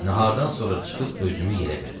Nahardan sonra çıxıb özümü yerə verdim.